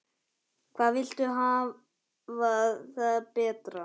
Hvað viltu hafa það betra?